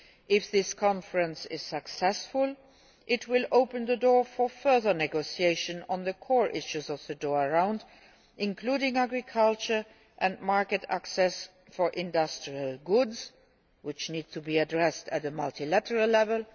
If this conference is successful, it will open the door for further negotiations on the core issues of the Doha Round, including agriculture and market access for industrial goods, which need to be addressed at multilateral level.